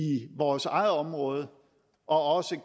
vores eget område og også